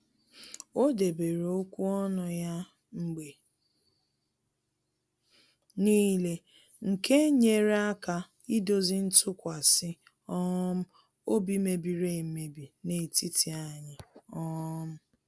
O debere okwu ọnụ ya mgbe n'ile nke nyere aka idozi ntụkwasị um obi mebiri emebi n'etiti anyị um